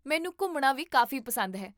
ਮੈਨੂੰ ਘੁੰਮਣਾ ਵੀ ਕਾਫ਼ੀ ਪਸੰਦ ਹੈ